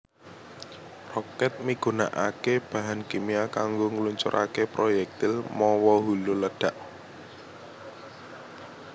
Rokèt migunakaké bahan kimia kanggo ngluncuraké proyektil mawa hulu ledhak